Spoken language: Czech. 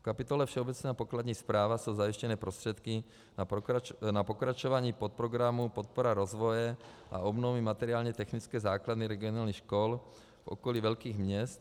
V kapitole Všeobecná a pokladní správa jsou zajištěny prostředky na pokračování podprogramu Podpora rozvoje a obnovy materiálně technické základny regionálních škol v okolí velkých měst.